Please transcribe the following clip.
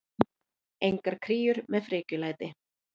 Engar kríur með frekjulæti.